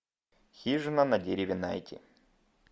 хижина на дереве найти